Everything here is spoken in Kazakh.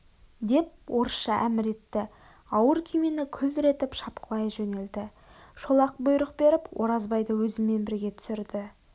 деп орысша әмір етті ауыр күймені күлдіретіп шапқылай жөнелді шолақ бұйрық беріп оразбайды өзімен бірге түсірді